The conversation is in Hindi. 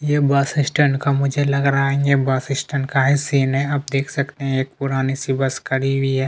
ये बस स्टँड का मुझे लग रहा हैं ये बस स्टँड का ही सीन हैं आप दख सकते है एक पुरानी सी बस खड़ी हुई है।